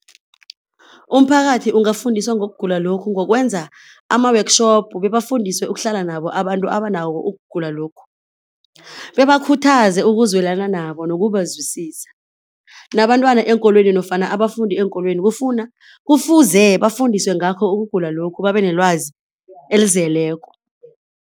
Umphakathi ungafundiswa ngokugula lokhu ngokwenza ama-workshop bebafundiswe ukuhlala nabo abantu abanawo ukugula lokhu, bebakhuthaze ukuzwelana nabo nokubazwisisa. Nabantwana eenkolweni nofana abafundi eenkolweni kufuna, kufuze bafundiswe ngakho ukugula lokhu babenelwazi elizeleko.